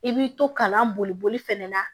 I b'i to kalan boli fɛnɛ na